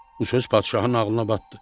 Bu söz padşahın ağlına batdı.